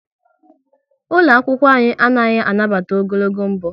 Ụlọ akwụkwọ anyị anaghị anabata ogologo mbọ